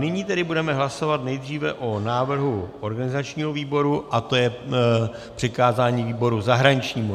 Nyní tedy budeme hlasovat nejdříve o návrhu organizačního výboru a tím je přikázání výboru zahraničnímu.